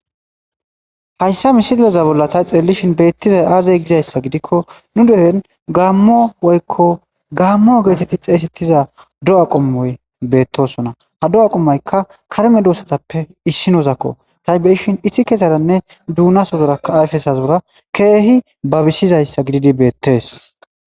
hayssa misilleza bolla tay xeellishin beettizay aazey gizayssa gidikko nu dehen gaammo woykko gaammo geetetti xeeysettiza do7a qommoy beettosona ha do7a qommoykka karme duussatappe issinozakko tay beyishin issi keesadanne duunaso zoraka ayfesas bora keehi babisizayssa gididi beettees